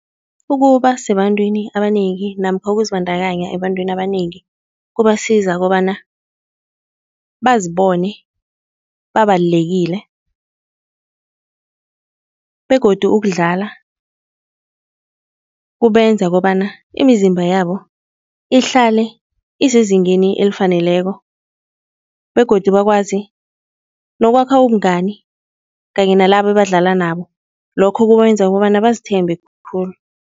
Ukuba sebantwini abanengi namkha ukuzibandakanya ebantwini abanengi kubasiza kobana bazibone babalulekile begodu ukudlala kubenza kobana imizimba yabo ihlale isezingeni elifaneleko begodu bakwazi nokwakha ubungani kanye nalabo ebadlala nabo, lokho kubenza kobana bazithemba khulu.